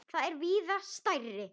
Þau er víða stærri.